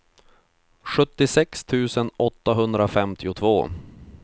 sjuttiosex tusen åttahundrafemtiotvå